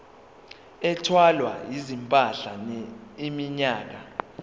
ethwala izimpahla iminyaka